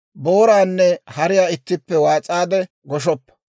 «Booraanne hariyaa ittippe waas'aade goshoppa.